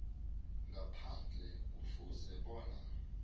ngaphandle kufuze bona